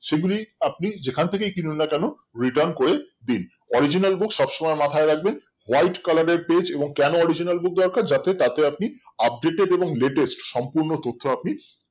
সেগুলি আপনি যেখান থেকেই কিনুন না কেনো RETURM করে দিন original book সবসময় মাথায় রাখবেন white colour এর page এবং কেন original book দরকার যাতে তাতেও আপনি updated এবং latest সম্পূর্ণ তথ্য আপনি